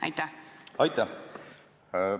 Aitäh!